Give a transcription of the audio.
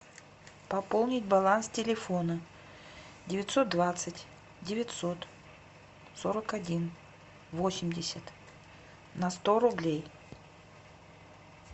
пополнить баланс телефона девятьсот двадцать девятьсот сорок один восемьдесят на сто рублей